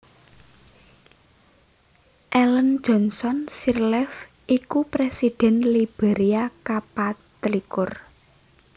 Ellen Johnson Sirleaf iku Présidhèn Liberia kapatlikur